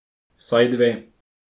Vsaj dve.